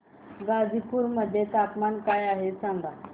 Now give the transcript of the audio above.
गाझीपुर मध्ये तापमान काय आहे सांगा